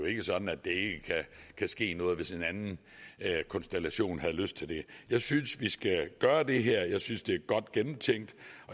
ikke sådan at der ikke kan ske noget hvis en anden regeringskonstellation får lyst til det jeg synes vi skal gøre det her jeg synes det